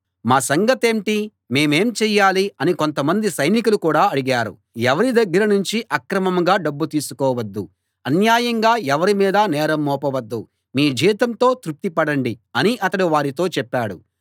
మా సంగతేంటి మేమేం చేయాలి అని కొంతమంది సైనికులు కూడా అడిగారు ఎవరి దగ్గర నుంచీ అక్రమంగా డబ్బు తీసుకోవద్దు అన్యాయంగా ఎవరి మీదా నేరం మోపవద్దు మీ జీతంతో తృప్తిపడండి అని అతడు వారితో చెప్పాడు